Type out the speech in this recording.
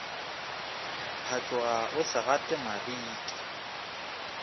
phatloga o se gate mariki